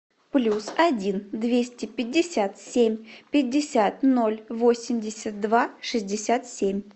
плюс один двести пятьдесят семь пятьдесят ноль восемьдесят два шестьдесят семь